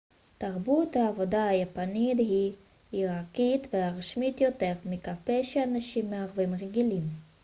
תרבות העבודה היפנית היא היררכית ורשמית יותר מכפי שאנשים מערביים רגילים